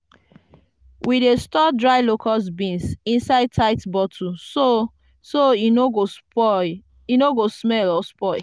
we dey store dry locust beans inside tight bottle so so e no go smell or spoil.